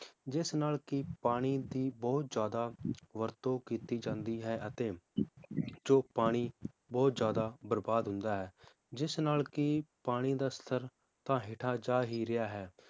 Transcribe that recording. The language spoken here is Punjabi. ਜਿਸ ਨਾਲ ਕਿ ਪਾਣੀ ਦੀ ਬਹੁਤ ਜ਼ਿਆਦਾ ਵਰਤੋਂ ਕੀਤੀ ਜਾਂਦੀ ਹੈ, ਅਤੇ ਜੋ ਪਾਣੀ ਬਹੁਤ ਜ਼ਿਆਦਾ ਬਰਬਾਦ ਹੁੰਦਾ ਹੈ ਜਿਸ ਨਾਲ ਕਿ ਪਾਣੀ ਦਾ ਸਤਰ ਤਾਂ ਹੇਠਾਂ ਜਾ ਹੀ ਰਿਹਾ ਹੈ